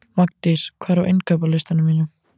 Magndís, hvað er á innkaupalistanum mínum?